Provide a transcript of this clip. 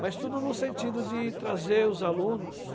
Mas tudo no sentido de trazer os alunos.